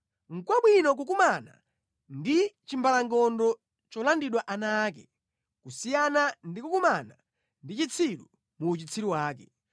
Nʼkwabwino kukumana ndi chimbalangondo cholandidwa ana ake kusiyana ndi kukumana ndi chitsiru mu uchitsiru wake.